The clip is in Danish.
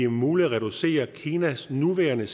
muligt at reducere kinas nuværende